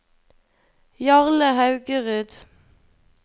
Jarle Haugerud